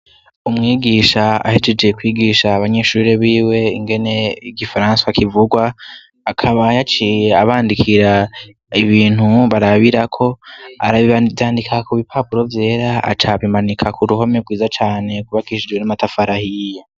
Umwigisha ahejeje kwigisha abanyeshure biwe ingene igifaransa kivugwa, akaba yaciye abandikira ibintu barabirako, aravyandika ku bipapuro vyera, aca abimanika ku ruhome rwiza cane rwubakishijwe n'amatafari ahiye.